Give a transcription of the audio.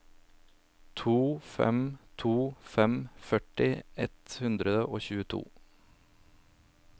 to fem to fem førti ett hundre og tjueto